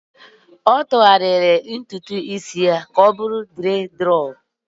ọ tụgharịrị ntutu isi ya ka ọ bụrụ nkụchi